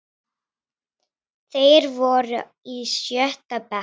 Þeir voru í sjötta bekk.